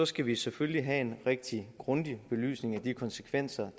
skal vi selvfølgelig have en rigtig grundig belysning af de konsekvenser